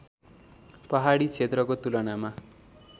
पहाडी क्षेत्रको तुलनामा